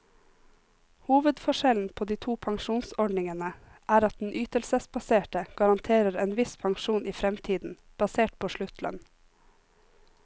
Hovedforskjellen på de to pensjonsordningene er at den ytelsesbaserte garanterer en viss pensjon i fremtiden, basert på sluttlønn.